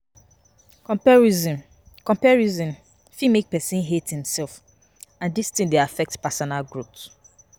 Comparison Comparison fit make person hate him self and dis thing dey affect personal growth